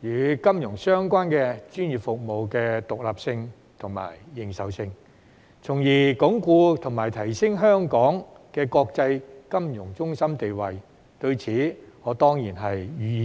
以及與金融相關專業服務的獨立性和認受性，從而鞏固及提升香港的國際金融中心地位，對此我當然予以支持。